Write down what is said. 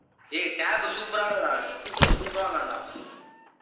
ஏய் tab super ஆ இருக்குடா. features super ஆ இருக்கான்டா.